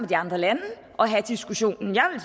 de andre lande og have diskussionen